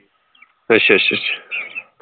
ਅੱਛਾ ਅੱਛਾ ਅੱਛਾ